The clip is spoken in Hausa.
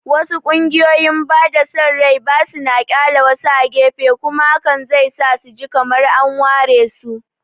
Wasu ƙungiyoyin bada son rai ba suna ƙyale wasu a gefe, kuma hakan zai sa su ji kamar an waresu.